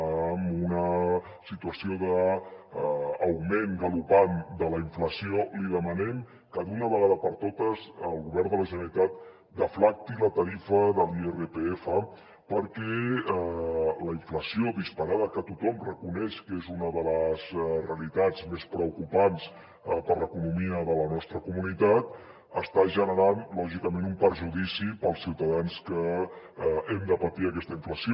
amb una situació d’augment galopant de la inflació li demanem que d’una vegada per totes el govern de la generalitat deflacti la tarifa de l’irpf perquè la inflació disparada que tothom reconeix que és una de les realitats més preocupants per a l’economia de la nostra comunitat està generant lògicament un perjudici per als ciutadans que hem de patir aquesta inflació